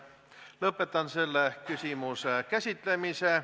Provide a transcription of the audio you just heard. Lõpetan selle küsimuse käsitlemise.